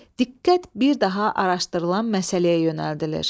Diqqət bir daha araşdırılan məsələyə yönəldilir.